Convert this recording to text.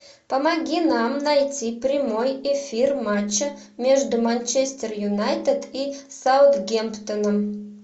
помоги нам найти прямой эфир матча между манчестер юнайтед и саутгемптоном